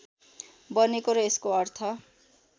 बनेको र यसको अर्थ